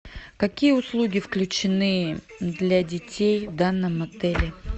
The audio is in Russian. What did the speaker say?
какие услуги включены для детей в данном отеле